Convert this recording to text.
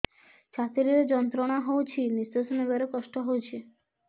ଛାତି ରେ ଯନ୍ତ୍ରଣା ହଉଛି ନିଶ୍ୱାସ ନେବାରେ କଷ୍ଟ ହଉଛି